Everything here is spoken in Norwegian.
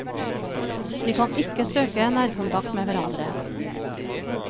De kan ikke søke nærkontakt med hverandre.